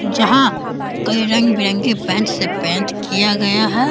जहां कई रंग-बिरंगे पेंट से पेंट किया गया है।